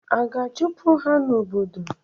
A ga-achụpụ ha n'obodo?